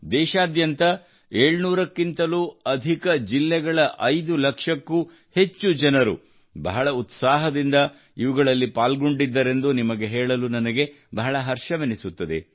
ದೇಶಾದ್ಯಂತ 700 ಕ್ಕಿಂತಲೂ ಅಧಿಕ ಜಿಲ್ಲೆಗಳ 5 ಲಕ್ಷಕ್ಕೂ ಅಧಿಕ ಜನರು ಬಹಳ ಉತ್ಸಾಹದಿಂದ ಇವುಗಳಲ್ಲಿ ಪಾಲ್ಗೊಂಡಿದ್ದರೆಂದು ನಿಮಗೆ ಹೇಳಲು ನನಗೆ ಬಹಳ ಹರ್ಷವೆನಿಸುತ್ತದೆ